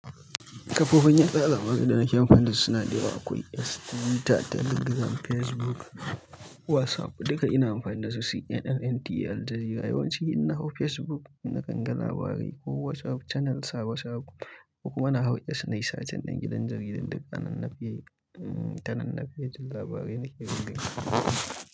Kafofin yada labarai da nake amfani da su suna da yawa. Akwai X, Twitter, Telegram, Facebook, WhatsApp duka ina amfani da su. CNN, NTA, Aljazeera yawanci ina hau Facebook, nakan ga labarai ko WhatsApp channel, sabo sabo, ko kuma na hau X na yi sa cin dangin dangin Aljazeera duka ana nufi ta nan na fi jin labarai nake gina.